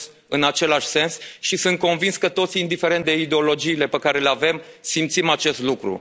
în același sens și sunt convins că toți, indiferent de ideologiile pe care le avem, simțim acest lucru.